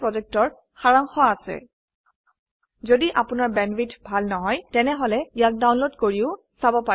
কথন শিক্ষণ প্ৰকল্পৰ সাৰাংশ ইয়াত আছে যদি আপোনাৰ বেণ্ডৱিডথ ভাল নহয় তেনেহলে ইয়াক ডাউনলোড কৰি চাব পাৰে